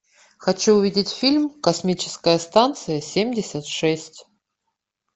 хочу увидеть фильм космическая станция семьдесят шесть